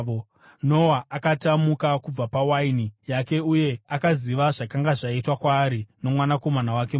Noa akati amuka kubva pawaini yake uye akaziva zvakanga zvaitwa kwaari nomwanakomana wake muduku,